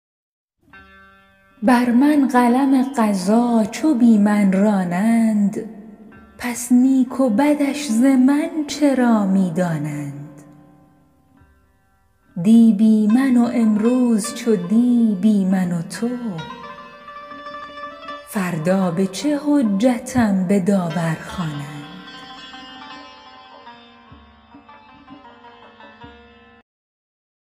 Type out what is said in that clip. بر من قلم قضا چو بی من رانند پس نیک و بدش ز من چرا می دانند دی بی من و امروز چو دی بی من و تو فردا به چه حجتم به داور خوانند